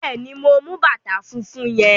Bẹ́ẹ̀ ni, mo mú bàtà fúnfún yẹn.